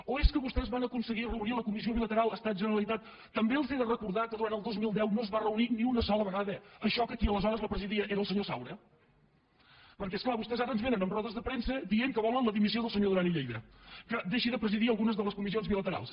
o és que vostès van aconseguir reunir la comissió bilateral es·tat·generalitat també els he de recordar que durant el dos mil deu no es va reunir ni una sola vegada això que qui aleshores la presidia era el senyor saura perquè és clar vostès ara ens vénen amb rodes de premsa i diuen que volen la dimissió del senyor du·ran i lleida que deixi de presidir algunes de les co·missions bilaterals